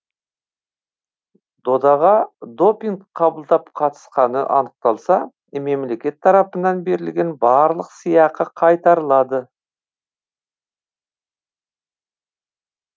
додаға допинг қабылдап қатысқаны анықталса мемлекет тарапынан берілген барлық сыйақы қайтарылады